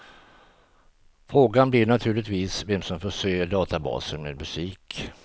Frågan blir naturligtvis vem som förser databasen med musik.